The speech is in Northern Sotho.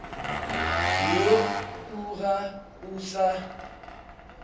woo o ga o sa